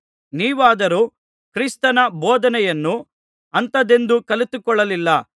ನೀವಾದರೋ ಕ್ರಿಸ್ತನ ಬೋಧನೆಯನ್ನು ಅಂಥದೆಂದು ಕಲಿತುಕೊಳ್ಳಲಿಲ್ಲ